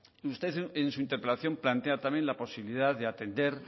usted en su interpelación plantea también la posibilidad de atender